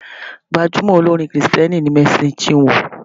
Gbajumo olórin kìrìtẹ̀ni ni Mercy Chinwo.